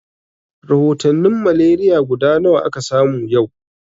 Rahotanin malaria guda nawa aka samu yau?